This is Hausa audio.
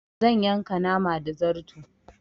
Zan yanka nama da zarto